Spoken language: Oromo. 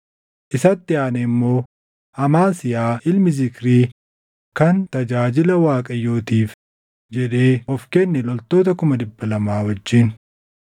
isatti aanee immoo Amaasiyaa ilma Zikrii kan tajaajila Waaqayyootiif jedhee of kenne loltoota 200,000 wajjin.